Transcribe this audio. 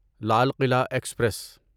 Lal Qila express